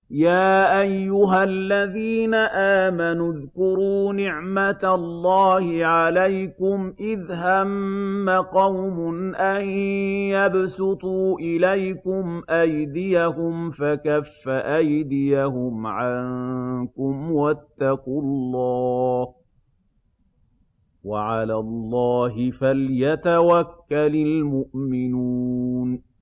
يَا أَيُّهَا الَّذِينَ آمَنُوا اذْكُرُوا نِعْمَتَ اللَّهِ عَلَيْكُمْ إِذْ هَمَّ قَوْمٌ أَن يَبْسُطُوا إِلَيْكُمْ أَيْدِيَهُمْ فَكَفَّ أَيْدِيَهُمْ عَنكُمْ ۖ وَاتَّقُوا اللَّهَ ۚ وَعَلَى اللَّهِ فَلْيَتَوَكَّلِ الْمُؤْمِنُونَ